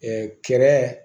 kɛrɛ